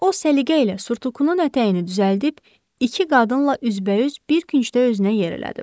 O, səliqə ilə surtukunun ətəyini düzəldib iki qadınla üz-üzə bir küncdə özünə yer elədi.